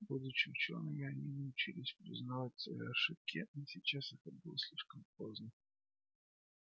будучи учёными они научились признавать свои ошибки но сейчас это было слишком поздно